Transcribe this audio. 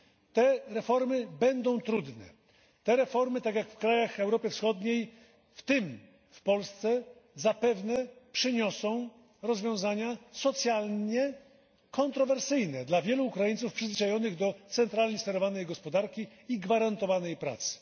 Te reformy będą trudne. Te reformy, tak jak w krajach Europy Wschodniej, w tym w Polsce, zapewne przyniosą rozwiązania socjalnie kontrowersyjne dla wielu Ukraińców przyzwyczajonych do centralnie sterowanej gospodarki i gwarantowanej pracy.